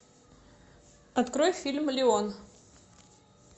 открой фильм леон